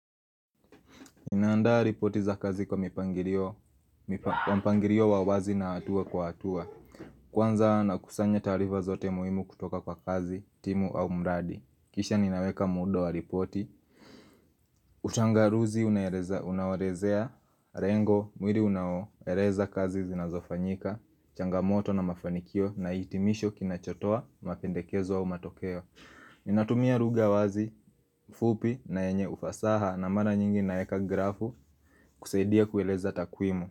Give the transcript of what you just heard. Ninaandaa ripoti za kazi kwa mpangilio wa wazi na hatua kwa hatua. Kwanza na kusanya taarifa zote muhimu kutoka kwa kazi, timu au mradi. Kisha ninaweka muundo wa ripoti. Utangulizi unaoelezea, lengo, mwili unaoeleza kazi zinazofanyika, changamoto na mafanikio na hitimisho kinachotoa, mapendekezo au matokeo. Ninatumia lugha wazi, fupi na yenye ufasaha na mara nyingi naeka grafu kusaidia kueleza takwimu.